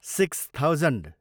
six thousand